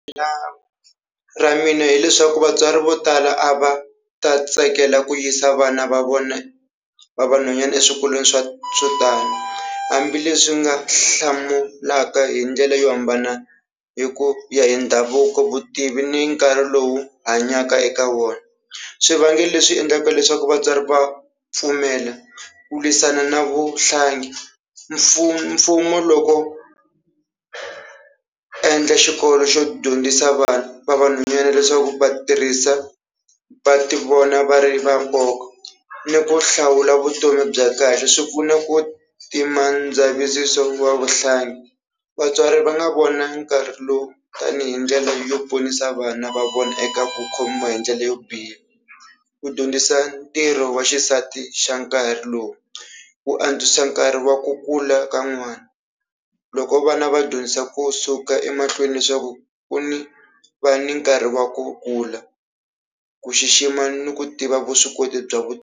ra mina hileswaku vatswari vo tala a va ta tsakela ku yisa vana va vona va vanhwanyana eswikolweni swa swo tani hambileswi ni nga hlamulaka hi ndlela yo hambana hi ku ya hi ndhavuko, vutivi ni nkarhi lowu hanyaka eka wona. Swivangelo leswi endlaka leswaku vatswari va pfumela ku lwisana na vuhlangi, mfumo loko endla xikolo xo dyondzisa vana va vanhwanyana leswaku va tirhisa va tivona va ri va nkoka ni ku hlawula vutomi bya kahle swi pfuna ku dzavisiso wa vuhlangi, vatswari va nga vona nkarhi lowu tanihi ndlela yo ponisa vana va vona eka ku khomiwa hi ndlela yo biha, ku dyondzisa ntirho wa xisati xa nkarhi lowu, ku antswisa nkarhi wa ku kula ka n'wana, loko vana va dyondzisa kusuka emahlweni leswaku ku ni va ni nkarhi wa ku kula, ku xixima ni ku tiva vuswikoti bya .